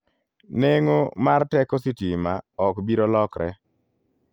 Neng'o mar teko sitima ok biro lokre.